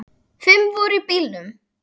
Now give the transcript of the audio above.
Fimm voru í bílnum.